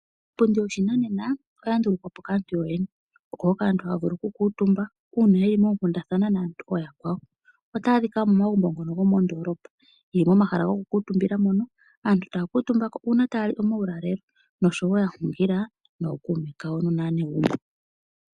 Iipundi yoshinanena oya ndulukwapo kaantu yoyene oko hoka aantu haya vulu oku kuutumba uuna yeli moonkundathana naantu ooyakwawo otayi adhika momagumbo ngono gomoondolopa yili momahala gokukuutumbila mono aantu taya kuutumbako uuna taya li omaulalelo nosho woo yahungila nookuume kawo nosho woo aanegumbo.